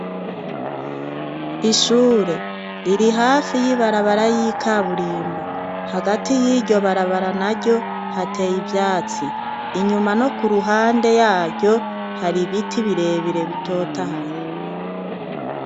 Ishure riri hafi y'ibarabara y'ikaburimbo. Hagati y'iryo barabara naryo, hateye ivyatsi. Inyuma no ku ruhande yaryo hari ibiti birebire bitotahaye.